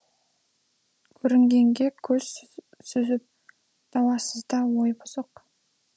көрінгенге көз сүзіп дауасызда ой бұзық